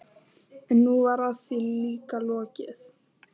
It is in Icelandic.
En nú var því líka lokið.